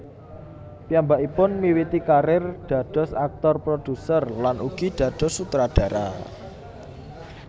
Piyambakipun miwiti karir dados aktor produser lan ugi dados sutradara